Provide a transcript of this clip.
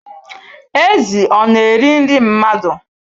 Ezi ọ na-eri nri mmadụ?